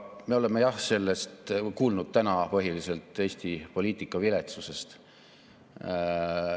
Me oleme jah kuulnud täna põhiliselt Eesti poliitika viletsusest.